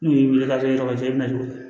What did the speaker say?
N'u y'i weele ka to yɔrɔ cɛ bɛna to